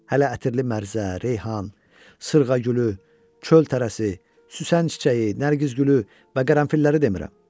Hələ ətirli mərzə, reyhan, sırğagülü, çöl tərəsi, süsən çiçəyi, nərgiz gülü və qərənfilləri demirəm.